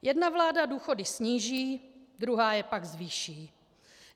Jedna vláda důchody sníží, druhá je pak zvýší.